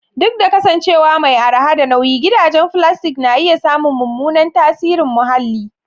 Duk da kasancewa mai araha da nauyi, gidajen filastik na iya samun mummunan tasirin muhalli.